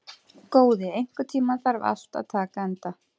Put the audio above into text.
Góði, einhvern tímann þarf allt að taka enda.